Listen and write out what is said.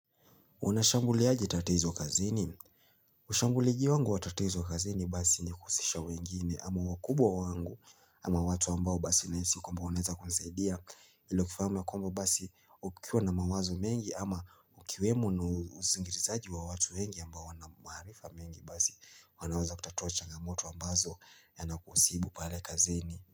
Unashambuliaje tatizo kazini? Ushambuliji wangu wa tatizo kazini basi ni kuhusisha wengine ama wakubwa wangu ama watu ambao basi naisi kwamba oneza kusaidia ilo kifahamu kuamba basi ukiwa na mawazo mengi ama ukiwemo na uzingirizaji wa watu wengi ambao wanamaharifa mengi basi wanaweza kutatua changamoto ambazo yanakusibu pale kazini.